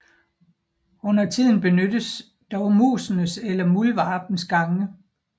Undertiden benyttes dog musenes eller muldvarpenes gange